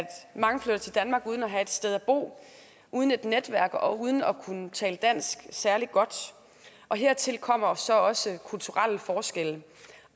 mange flytter til danmark uden at have et sted at bo uden et netværk og uden at kunne tale dansk særlig godt hertil kommer så også kulturelle forskelle